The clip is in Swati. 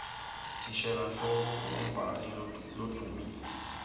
thishela nhloko umgumbhali loduumile